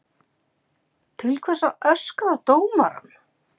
Til hvers að öskra á dómarann?